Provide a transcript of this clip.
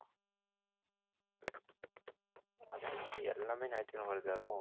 எல்லாமே ஞாயிற்றுக்கிழமை வருது